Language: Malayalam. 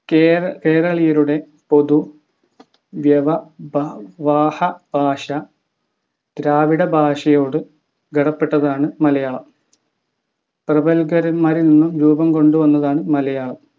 കേര കേരളീയരുടെ പൊതു വ്യവ ബ വാഹ ഭാഷ ദ്രാവിഡ ഭാഷായോട് ഗടപ്പെട്ടതാണ് മലയാളം പ്രകല്പരന്മാരിൽ നിന്നു രൂപം കൊണ്ടതാണു മലയാളം